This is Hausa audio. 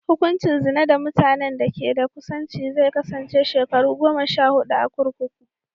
Hukuncin zina da mutanen da ke da kusanci zai kasance shekaru goma sha huɗu a kurkuku.